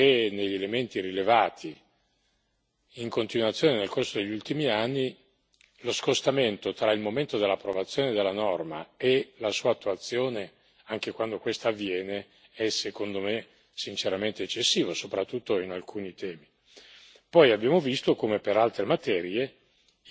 e correttamente tempestivamente perché, negli elementi rilevati in continuazione nel corso degli ultimi anni, lo scostamento tra il momento dell'approvazione della norma e la sua attuazione, anche quando questa avviene, è secondo me sinceramente eccessivo, soprattutto per alcuni temi.